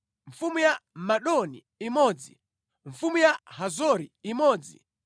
mfumu ya Madoni imodzi mfumu ya Hazori imodzi